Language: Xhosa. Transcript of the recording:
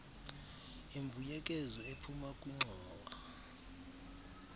imbuyekezo ephuma kwingxowa